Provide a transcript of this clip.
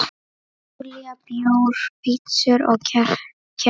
Júlía: Bjór, pitsur og kettir.